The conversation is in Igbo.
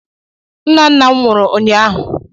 Nnanna m nwụrụ ụnyaahụ.